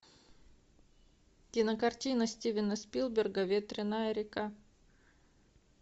кинокартина стивена спилберга ветреная река